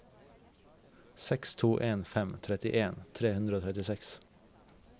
seks to en fem trettien tre hundre og trettiseks